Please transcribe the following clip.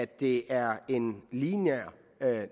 det er en lineær